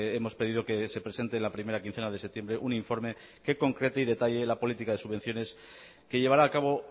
hemos pedido que se presente la primera quincena de septiembre un informe que concrete y detalle la política de subvenciones que llevará a cabo